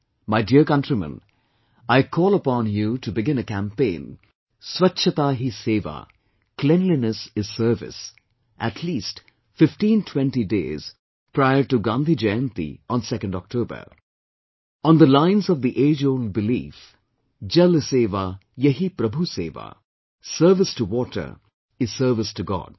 My dear countrymen, I call upon you to begin a campaign, Swachchata Hi Sewa, Cleanliness is Service, at least fifteentwenty days prior to Gandhi Jayanti on 2nd October on the lines of the ageold belief, Jal Seva Yahi Prabhu Seva, Service to Water is Service to God